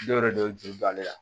Dɔw yɛrɛ don juru don ale la